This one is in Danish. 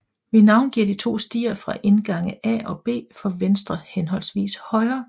Vi navngiver de to stier fra indgange A og B for venstre henholdsvist højre